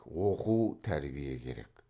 оқу тәрбие керек